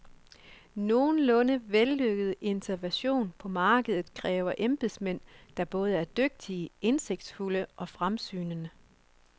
Nogenlunde vellykket intervention på markedet kræver embedsmænd, der både er dygtige, indsigtsfulde og fremsynede.